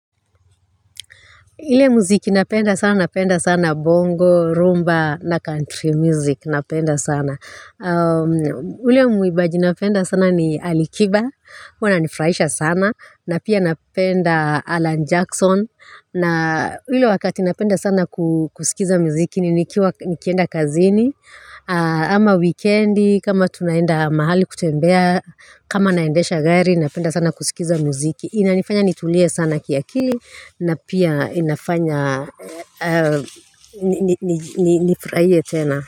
Ile muziki napenda sana, napenda sana bongo, rumba na country music napenda sana. Ule muibaji napenda sana ni Alikiba, huwa ananifurahisha sana, na pia napenda Alan Jackson, na ule wakati napenda sana kusikiza muziki ni nikienda kazini, ama wikendi, kama tunaenda mahali kutembea, kama naendesha gari, napenda sana kusikiza muziki. Inanifanya nitulie sana kiakili na pia inafanya nifurahie tena.